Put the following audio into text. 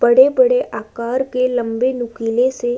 बड़े-बड़े आकार के लंबे नुकीले से --